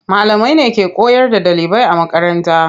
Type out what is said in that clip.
Malamai ne ke koyar da ɗalibai a makaranta.